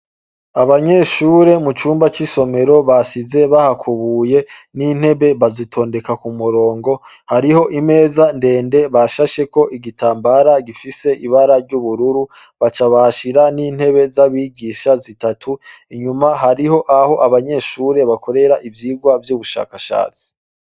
Abanyeshure mucumba c'isomero basize bahakubuye n'intebe bazitondeka ku murongo hariho imeza ndende bashasheko igitambara gifise ibara ry'ubururu baca bahashira n'intebe z'abigisha zitatu, inyuma hariho aho abanyeshure bakorera ivyigwa vy'ubushakashatsi.